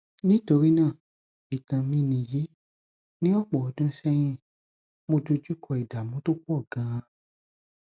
nítorí náà ìtàn mi nìyí ní ọpọ ọdún sẹyìn mo dojú kọ ìdààmú tó pọ gan-an